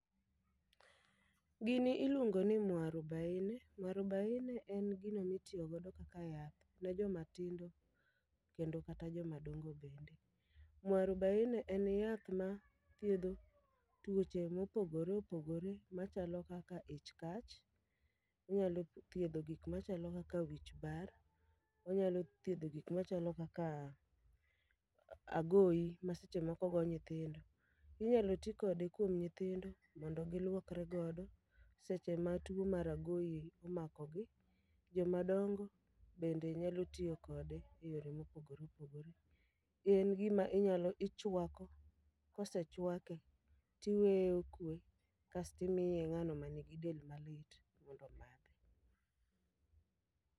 Gini iluongo ni mwarubaine, mwarubaine en gino mitiyo godo kaka yath ne joma tindo kendo kata joma dongo bende. Mwarubaine en yath ma thiedho tuoche mopogore opogore machalo kaka ich kach, onyalo thiedho gik machalo kaka wich bar, onyalo thiedho gik machalo kaka agoyi ma seche moko go nyithindo. Inyalo ti kode kuom nythindo mondo gilwokre godo, seche ma tuo mar agoyi omakogi. Joma dongo bende nyalo tiyo kode e yore mopogore opogore. Gin gima ichwako, kosechwake tiweye okwe kastimiye ng'ano man gi del malit mondo omadhe.